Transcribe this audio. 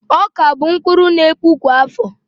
Ọka bụ mkpụrụ n'epu kwa áfọ̀